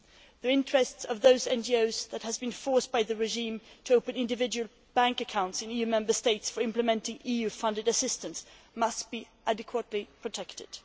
The interests of those NGOs that have been forced by the regime to open individual bank accounts in EU Member States for implementing EU funded assistance must be adequately protected.